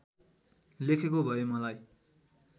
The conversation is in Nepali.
लेखेको भए मलाई